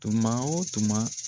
Tuma o tuma.